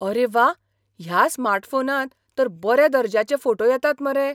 आरे वाह! ह्या स्मार्टफोनार तर बऱ्या दर्ज्याचे फोटो येतात मरे.